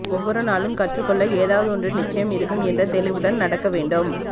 ஒவ்வொரு நாளும் கற்றுக் கொள்ள ஏதாவது ஒன்று நிச்சயம் இருக்கும் என்ற தெளிவுடன் நடக்க வேண்டும்